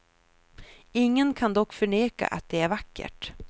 Ingen kan dock förneka att det är vackert.